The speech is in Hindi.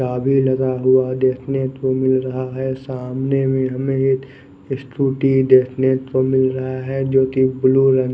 चाबी लगा हुआ हमे देखने को मिल रहा है सामने भी हमे एक स्कूटी देखने को मिल रहा है जो की ब्लू रंग --